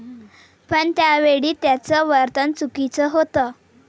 पण त्यावेळी त्याचं वर्तन चुकीचं होतं.